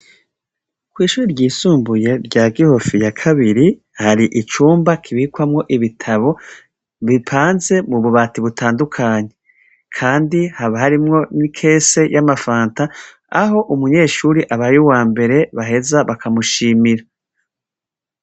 Kw’ishure ryisumbuye rya Gihofi ya kabiri, hari icumba kibikwamwo ibitabo bipanze mububati butandukanye, kandi haba harimwo n’ikese y’amafanta aho umunyeshure abaye wambere baheza bakamushimira.